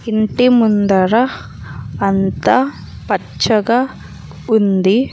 ఇంటి ముందర అంతా పచ్చగా ఉంది.